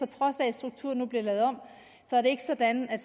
trods af at strukturen nu bliver lavet om er det ikke sådan at